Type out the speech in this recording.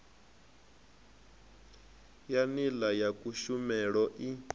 ya nila ya kushumele i